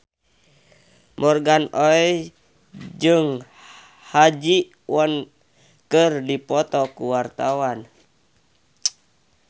Morgan Oey jeung Ha Ji Won keur dipoto ku wartawan